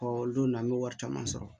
o don na an bɛ wari caman sɔrɔ